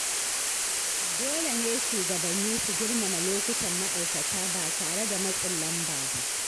Dole ne shugabanni su girmama lokutan ma’aikata ba tare da matsin lamba ba.